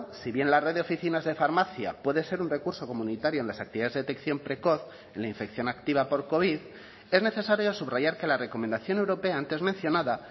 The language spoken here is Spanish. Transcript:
si bien la red de oficinas de farmacia puede ser un recurso comunitario en las actividades de detección precoz en la infección activa por covid es necesario subrayar que la recomendación europea antes mencionada